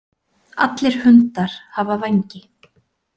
Allir hundar hafa vængi.